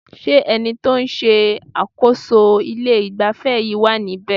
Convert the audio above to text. Ṣé ẹni tí o ń ṣe àkóso ilé ìgbafẹ́ yìí wá níbe?